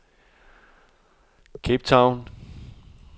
Cape Town